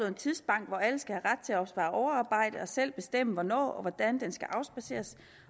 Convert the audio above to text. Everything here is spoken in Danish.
en tidsbank hvor alle skal have ret til at opspare overarbejde og selv bestemme hvornår og hvordan det skal afspadseres